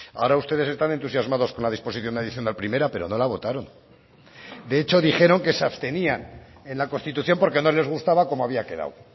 ahora ustedes están entusiasmados con la disposición adicional primera pero no la votaron de hecho dijeron que se abstenían en la constitución porque no les gustaba cómo había quedado